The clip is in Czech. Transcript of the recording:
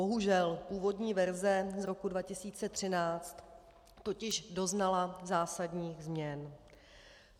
Bohužel původní verze z roku 2013 totiž doznala zásadních změn.